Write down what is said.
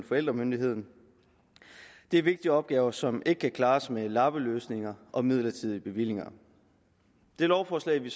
forældremyndigheden det er vigtige opgaver som ikke kan klares med lappeløsninger og midlertidige bevillinger det lovforslag vi